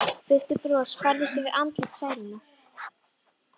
Veikt bros færðist yfir andlit Særúnar.